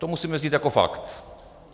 To musíme vzít jako fakt.